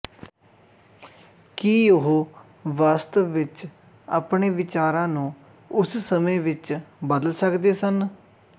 ਕੀ ਉਹ ਵਾਸਤਵ ਵਿੱਚ ਆਪਣੇ ਵਿਚਾਰਾਂ ਨੂੰ ਉਸ ਸਮੇਂ ਵਿੱਚ ਬਦਲ ਸਕਦੇ ਸਨ